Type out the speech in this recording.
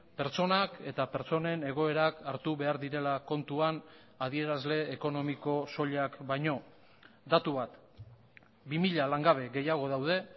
pertsonak eta pertsonen egoerak hartu behar direla kontuan adierazle ekonomiko soilak baino datu bat bi mila langabe gehiago daude